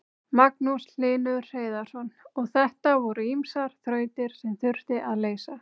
Magnús Hlynur Hreiðarsson: Og þetta voru ýmsar þrautir sem þurfti að leysa?